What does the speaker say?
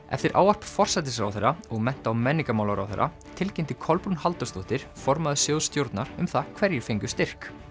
eftir ávarp forsætisráðherra og mennta og menningarmálaráðherra tilkynnti Kolbrún Halldórsdóttir formaður sjóðsstjórnar um það hverjir fengu styrk